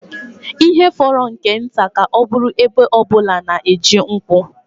Ihe fọrọ nke nta ka ọ bụrụ ebo ọ bụla na-eji nkwụ